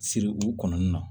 Siri u kɔnɔna na